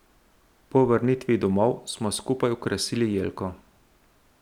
Po vrnitvi domov smo skupaj okrasili jelko.